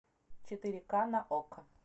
четыре ка на окко